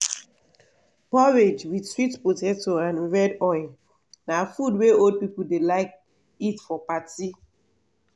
porridge with sweet potato and red oil na food wey old people dey like eat for party.